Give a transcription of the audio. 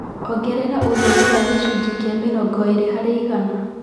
Ongerera ũtherĩ wa gĩcũnjĩ kĩa mĩrongo ĩrĩ harĩ igana